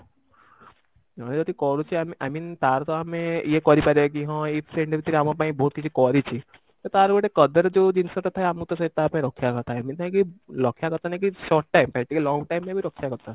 ଜଣେ ଯଦି କରୁଛି i i mean ତାର ତ ଆମେ ଇଏ କରିପାରିବା କି ହଁ ଏଇ friend ଏମିତି ଆମ ପାଇଁ ବହୁତ କିଛି କରିଛି ତ ତାର ଗୋଟେ କଦର ଯଉ ଜିନିଷ ଟା ଥାଏ ଆମକୁ ତ ସେଇ ତାପାଇଁ ରଖିବା କଥା ଏମିତି ନାଇଁ କି ରଖିବା କଥା ନାଇଁ କି short time ପାଇଁ ଟିକେ long time ପାଇଁ ବି ରଖିବା କଥା